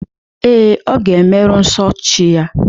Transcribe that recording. Ee, ọ ga-emeru nso chi ya.